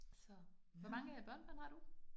Så hvor mange børnebørn har du